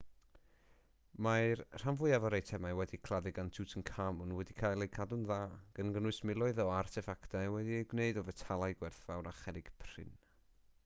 mae'r rhan fwyaf o'r eitemau wedi'u claddu gyda tutankhamun wedi cael eu cadw'n dda gan gynnwys miloedd o arteffactau wedi eu gwneud o fetalau gwerthfawr a cherrig prin